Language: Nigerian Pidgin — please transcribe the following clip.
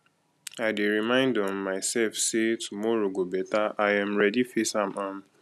i dey remind um myself say tomorrow go better i um ready face am um